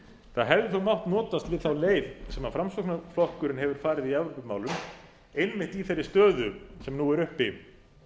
það hefði þó mátt notast við þá leið sem framsóknarflokkurinn hefur farið í evrópumálum einmitt í þeirri stöðu sem nú er uppi